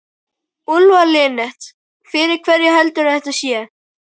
Úlfar Linnet: Fyrir hverja heldurðu að þetta sé?